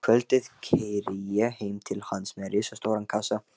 Um kvöldið keyri ég heim til hans með risastóran kassa.